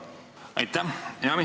Aitäh!